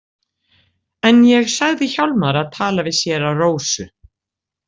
En ég sagði Hjálmari að tala við séra Rósu.